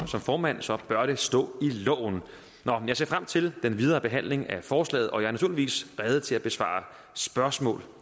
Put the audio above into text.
formand bør det stå i loven jeg ser frem til den videre behandling af forslaget og jeg er naturligvis rede til at besvare spørgsmål